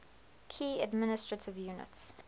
key administrative units